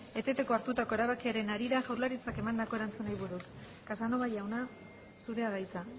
eteteko hartutako erabakiaren harira jaurlaritzak emandako erantzunari buruz casanova jauna zurea da hitza